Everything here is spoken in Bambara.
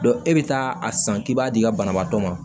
e bɛ taa a san k'i b'a di ka banabaatɔ ma